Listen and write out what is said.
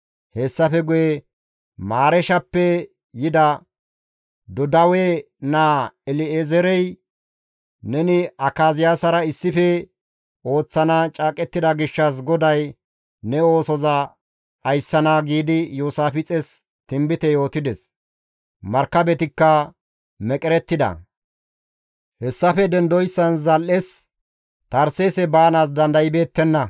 Hessafe guye Mareeshappe yida Dodawe naa El7ezeerey, «Neni Akaziyaasara issife ooththana caaqettida gishshas GODAY ne oosoza dhayssana» giidi Iyoosaafixes tinbite yootides; markabetikka meqerettida; hessafe dendoyssan zal7es Tarseese baanaas dandaybeettenna.